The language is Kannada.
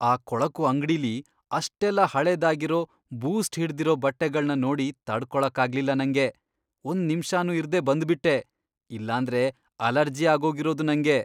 ಆ ಕೊಳಕು ಅಂಗ್ಡಿಲಿ ಅಷ್ಟೆಲ್ಲ ಹಳೇದಾಗಿರೋ, ಬೂಸ್ಟ್ ಹಿಡ್ದಿರೋ ಬಟ್ಟೆಗಳ್ನ ನೋಡಿ ತಡ್ಕೊಳಕ್ಕಾಗ್ಲಿಲ್ಲ ನಂಗೆ, ಒಂದ್ನಿಮ್ಷನೂ ಇರ್ದೇ ಬಂದ್ಬಿಟ್ಟೆ, ಇಲ್ಲಾಂದ್ರೆ ಅಲರ್ಜಿ ಆಗೋಗಿರೋದು ನಂಗೆ.